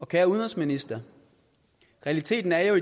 kære udenrigsminister realiteten er jo